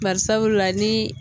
Barisabula ni